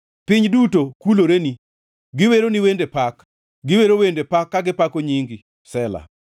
Piny duto kuloreni; giweroni wende pak; giwero wende pak ka gipako nyingi.” Sela